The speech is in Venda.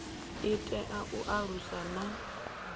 i tea u alusa na